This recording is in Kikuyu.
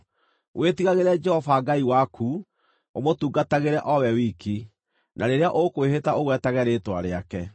Wĩtigagĩre Jehova Ngai waku, ũmũtungatĩre o we wiki, na rĩrĩa ũkwĩhĩta ũgwetage rĩĩtwa rĩake.